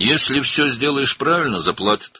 Əgər hər şeyi düzgün etsən, ödəyəcəklər.